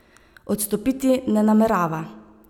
Odstopiti ne namerava.